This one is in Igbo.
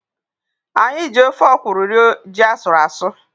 Anyị ji ofe ọkwụrụ rie ji asụrụ asụ.